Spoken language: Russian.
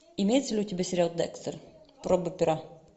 имеется ли у тебя сериал декстер проба пера